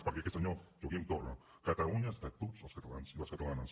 perquè senyor joaquim torra catalunya és de tots els catalans i les catalanes